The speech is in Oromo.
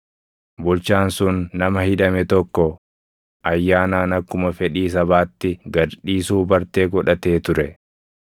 Bulchaan sun nama hidhame tokko ayyaanaan akkuma fedhii sabaatti gad dhiisuu bartee godhatee ture.